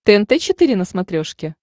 тнт четыре на смотрешке